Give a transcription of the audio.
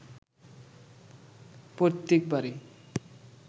পৈতৃক বাড়ি